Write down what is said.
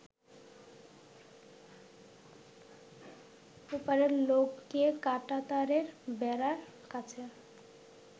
ওপারের লোককে কাঁটাতারের বেড়ার কাছে